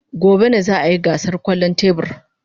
Gobe ​​ne za a yi gasar kwallon tebur.